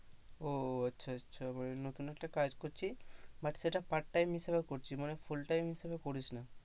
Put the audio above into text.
ও আচ্ছা আচ্ছা মানে নতুন একটা কাজ করছিস but সেটা part time হিসাবে করছিস মানে full time হিসেবে করিস না,